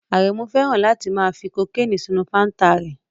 Arenu fẹ́ràn láti fi kokeni sínú fanta rẹ̀